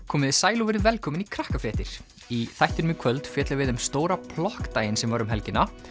komiði sæl og verið velkomin í Krakkafréttir í þættinum í kvöld fjöllum við um stóra plokkdaginn sem var um helgina